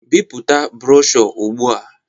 Bipụta broshọ ugbu a